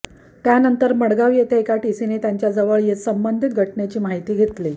त्यानंतर मडगांव येथे एका टिसीने त्यांच्या जवळ येत संबंधित घटनेची माहिती घेतली